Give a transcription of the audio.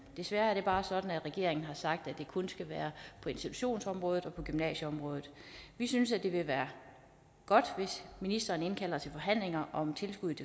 desværre er det bare sådan at regeringen har sagt at det kun skal være på institutionsområdet og på gymnasieområdet vi synes det vil være godt hvis ministeren indkalder til forhandlinger om tilskuddet